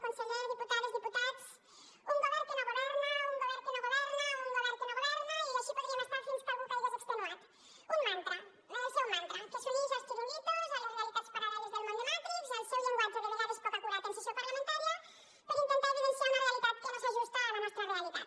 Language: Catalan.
conseller diputades diputats un govern que no governa un govern que no governa un govern que no governa i així podríem estar fins que algú caigués extenuat un mantra el seu mantra que s’unix als chiringuitos a les realitats paral·leles del món de matrix al seu llenguatge de vegades poc acurat en sessió parlamentària per intentar evidenciar una realitat que no s’ajusta a la nostra realitat